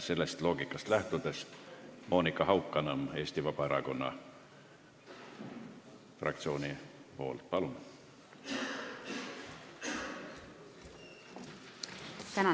Sellest loogikast lähtudes Monika Haukanõmm Eesti Vabaerakonna fraktsiooni nimel, palun!